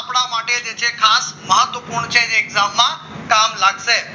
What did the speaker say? કપડા માટે જે છે ખાસ મહત્વપૂર્ણ છે જે exam માં કામ લાગશે